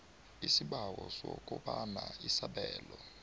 isibawo sokobana isabelo